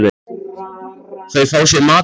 Þau fá sér mat og vín.